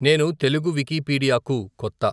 నేను తెలుగు వికిపీడియా కు కొత్త.